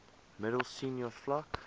middel senior vlak